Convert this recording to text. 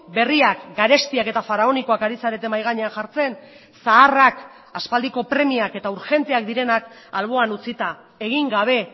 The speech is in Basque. berriak garestiak eta faraonikoak ari zarete mahai gainean jartzen zaharrak aspaldiko premiak eta urgenteak direnak alboan utzita egin gabe